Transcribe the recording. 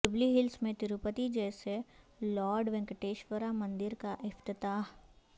jubilee Hills میں تروپتی جیسے lord Venkateshwara مندر کا افتتاح